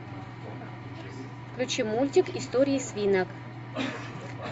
включи мультик истории свинок